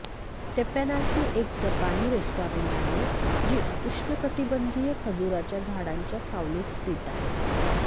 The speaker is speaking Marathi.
तेप्पान्याकी एक जपानी रेस्टॉरंट आहे जी उष्णकटिबंधीय खजुराच्या झाडांच्या सावलीत स्थित आहे